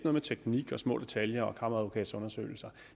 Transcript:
med teknik og små detaljer og kammeradvokatundersøgelser